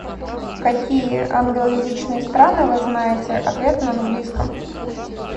какие англоязычные страны вы знаете ответ на английском